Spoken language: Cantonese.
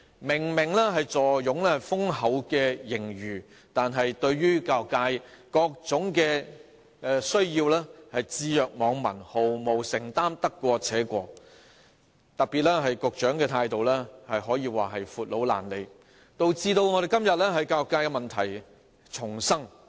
明明坐擁豐厚盈餘，卻對教育界各種需要置若罔聞，毫無承擔，得過且過，特別是局長的態度可說是"闊佬懶理"，導致今天我們教育界問題叢生。